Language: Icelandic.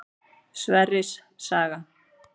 Sverris saga.